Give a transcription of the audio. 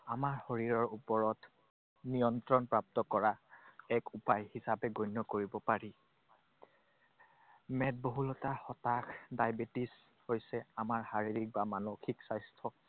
আমাৰ শৰীৰৰ ওপৰত নিয়ন্ত্ৰণপ্ৰাপ্ত কৰা এক উপায় হিচাপে গণ্য কৰিব পাৰি। মেদবহুলতা, হতাশ, diabetes হৈছে আমাৰ শাৰীৰিক বা মানসিক স্বাস্থ্যত